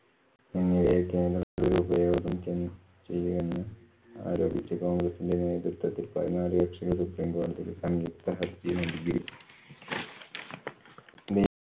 ചെയ്യുകെന്നും ആരോപിച്ചു കോണ്‍ഗ്രസ്സിന്‍റെ നേതൃത്വത്തിൽ പതിനാലു കക്ഷികൾ